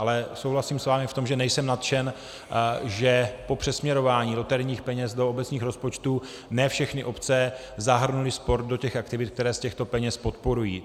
Ale souhlasím s vámi v tom, že nejsem nadšen, že po přesměrování loterijních peněz do obecních rozpočtů ne všechny obce zahrnuly sport do těch aktivit, které z těchto peněz podporují.